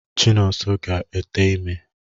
Chinonso ga-ete ime.